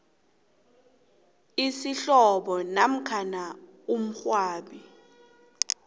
isihlobo namkha umngcwabi